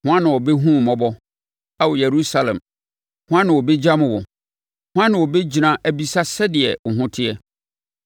“Hwan na ɔbɛhunu wo mmɔbɔ, Ao Yerusalem? Hwan na ɔbɛgyam wo? Hwan na ɔbɛgyina abisa sɛdeɛ wo ho teɛ?